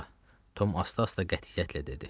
Tom asta-asta qətiyyətlə dedi.